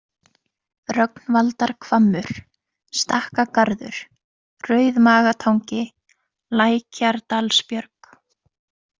Rögnvaldarhvammur, Stakkagarður, Rauðmagatangi, Lækjardalsbjörg